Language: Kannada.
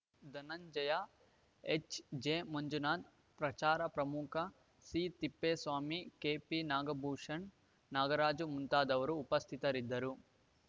ಧನುಂಜಯ ಎಚ್‌ಜೆ ಮಂಜುನಾಥ ಪ್ರಚಾರ ಪ್ರಮುಖ ಸಿತಿಪ್ಪೇಸ್ವಾಮಿ ಕೆಪಿ ನಾಗಭೂಷಣ್‌ ನಾಗರಾಜು ಮುಂತಾದವರು ಉಪಸ್ಥಿತರಿದ್ದರು